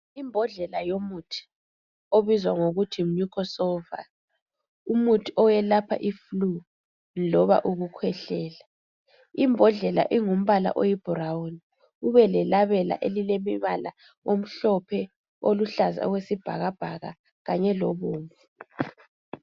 Imbodlela yomuthi obizwa ngokuthi yiMucosolvan, umuthi owelapha umvimbono loba ukukhwehlela. Imbodlela ingumbala oyibrown kube lelabela elilemibala omhlophe, oluhlaza okwesibhakabhaka kanye lobomvu.